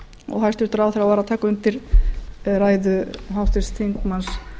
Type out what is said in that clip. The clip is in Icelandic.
og hæstvirtur ráðherra var að taka undir ræðu háttvirts þingmanns